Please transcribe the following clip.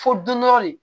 Fo dunɔrɔ de